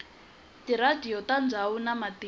tiradiyo ta ndzhawu na matimba